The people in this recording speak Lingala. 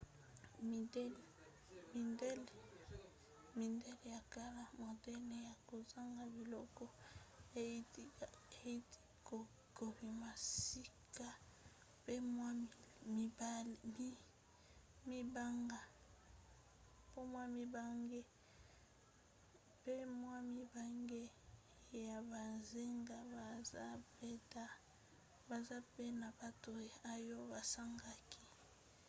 midele ya kala modele ya kozanga biloko euti kobima sika pe mwa mibange ya bonzenga baza pe na bato oyo basangani